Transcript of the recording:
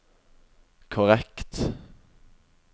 korrekt